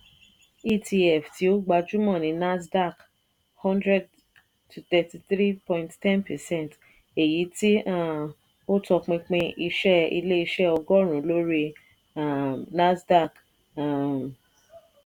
etf tí ó gbajúmọ̀ ni nasdaq- one hundred (- thirty three point one zero percent) èyítí um ó tọpinpin iṣẹ́ ilé-iṣẹ́ ọgọ́run lórí um nasdaq. um